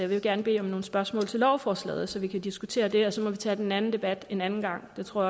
vil gerne bede om nogle spørgsmål til lovforslaget så vi kan diskutere det og så må vi tage den anden debat en anden gang det tror